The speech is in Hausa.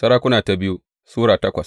biyu Sarakuna Sura takwas